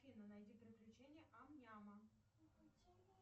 афина найди приключения ам няма